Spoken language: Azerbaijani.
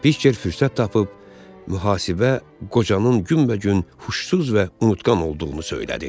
Piçer fürsət tapıb mühasibə qocanın günbəgün huşsuz və unutqan olduğunu söylədi.